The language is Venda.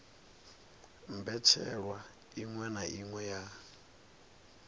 mbetshelwa iṅwe na iṅwe ya